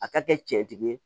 A ka kɛ cɛtigi ye